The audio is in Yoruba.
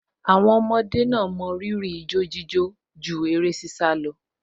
Àwọn ọmọ yan ijo-jíjó láàyò ju eré-sísá lọ